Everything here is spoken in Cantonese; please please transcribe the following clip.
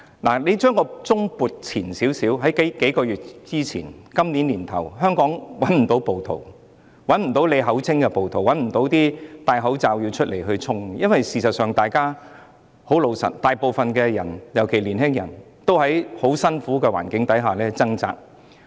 大家回想在數月前，今年年初的香港不會找到暴徒，找不到他們口中的暴徒，也找不到戴着口罩出來衝擊的人，因為大部分人，尤其是年輕人，都在很辛苦的環境下掙扎。